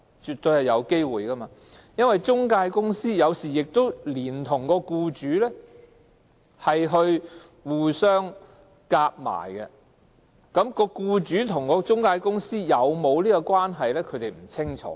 絕對有可能，因為中介公司有時跟僱主合謀，僱主和中介公司是否有關，外傭並不清楚。